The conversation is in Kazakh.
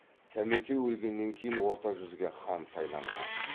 сәмеке өлгеннен кейін орта жүзге хан сайланған